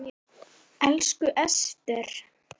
Elsku Ester.